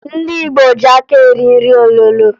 Ndị Igbo ji aka eri nri olulo